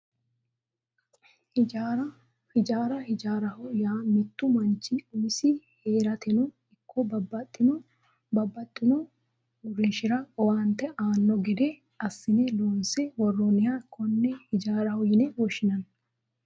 Hijaara hijaaraho yaa mittu manchi umisi heerateno ikko babbaxxitino uurrinshara owaante aanno gede assine loonse worranniha konne hijaaraho yine woshshinanni